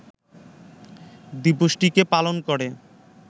দিবসটিকে পালন করে